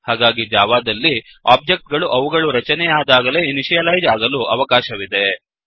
ಹಾಗಾಗಿ ಜಾವಾದಲ್ಲಿ ಒಬ್ಜೆಕ್ಟ್ ಗಳು ಅವುಗಳು ರಚನೆಯಾದಾಗಲೇ ಇನಿಷಿಯಲೈಜ್ ಆಗಲು ಅವಕಾಶವಿದೆ